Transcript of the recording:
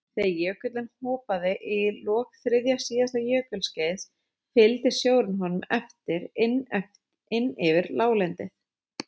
Þegar jökullinn hopaði í lok þriðja síðasta jökulskeiðs fylgdi sjórinn honum eftir inn yfir láglendið.